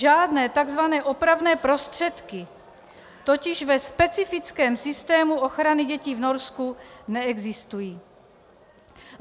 Žádné tzv. opravné prostředky totiž ve specifickém systému ochrany dětí v Norsku neexistují.